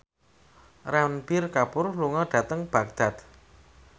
Ranbir Kapoor lunga dhateng Baghdad